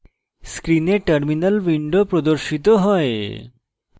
screen terminal window প্রদর্শিত হয়